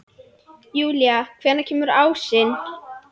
Júlí, hvenær kemur ásinn?